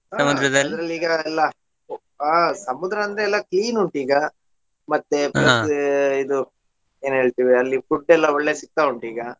ಈಗ ಎಲ್ಲಾ ಹಾ ಸಮುದ್ರ ಅಂದ್ರೆ ಎಲ್ಲಾ clean ಉಂಟು ಈಗಾ, ಮತ್ತೆ ಇದು ಎನ್ಹೇಳ್ತಿವಿ ಅಲ್ಲಿ food ಎಲ್ಲಾ ಒಳ್ಳೆ ಸಿಕ್ತಾ ಉಂಟು ಈಗಾ.